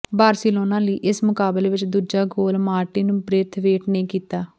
Barcelona ਲਈ ਇਸ ਮੁਕਾਬਲੇ ਵਿਚ ਦੂਜਾ ਗੋਲ ਮਾਰਟਿਨ ਬ੍ਰੇਥਵੇਟ ਨੇ ਕੀਤਾ